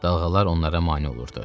Dalğalar onlara mane olurdu.